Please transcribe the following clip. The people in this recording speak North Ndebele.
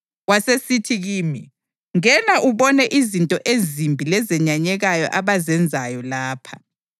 Wasesithi kimi, “Ngena ubone izinto ezimbi lezenyanyekayo abazenzayo lapha.”